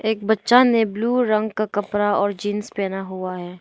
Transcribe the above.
एक बच्चा ने ब्लू रंग का कपड़ा और जींस पहना हुआ है।